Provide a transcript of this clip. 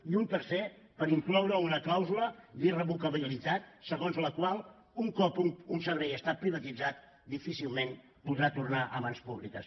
i un tercer per incloure una clàusula d’irrevocabilitat segons la qual un cop un servei està privatitzat difícilment podrà tornar a mans públiques